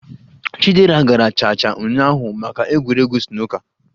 Chidera gara cha cha ụnyaahụ maka egwuregwu snooker